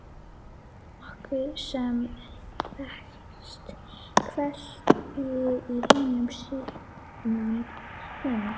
Þetta er nokkuð sem þekkist hvergi í hinum siðmenntaða heimi.